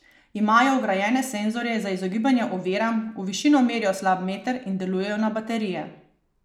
Imajo vgrajene senzorje za izogibanje oviram, v višino merijo slab meter in delujejo na baterije.